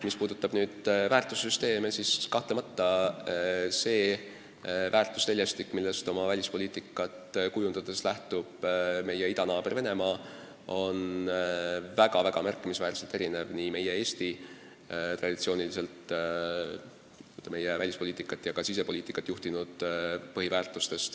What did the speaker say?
Mis puutub väärtussüsteemidesse, siis kahtlemata see väärtusteljestik, millest oma välispoliitikat kujundades lähtub meie idanaaber Venemaa, on märkimisväärselt erinev sellest, millest Eesti on traditsiooniliselt oma välispoliitikat ja ka sisepoliitikat kujundades lähtunud.